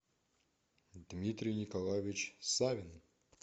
дмитрий николаевич савин